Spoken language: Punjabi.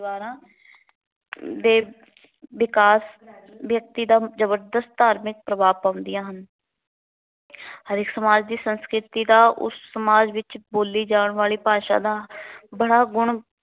ਦੇ ਵਿਕਾਸ ਵਿਅਕਤੀ ਦਾ ਜ਼ਬਰਦਸਤ ਪ੍ਰਭਾਵ ਪਾਉਂਦੀਆਂ ਹਨ। ਹਰੇਕ ਸਮਾਜ ਦੀ ਸੰਸਕ੍ਰਿਤੀ ਦਾ, ਉਸ ਸਮਾਜ ਵਿੱਚ ਬੋਲੀ ਜਾਣ ਵਾਲੀ ਭਾਸ਼ਾ ਦਾ, ਬੜਾ ਗੁਣ